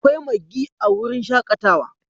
Akwai Maggie a wurin shakatawa